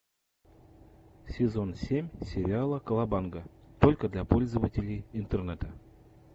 сезон семь сериала колобанга только для пользователей интернета